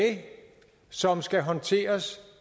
som skal håndteres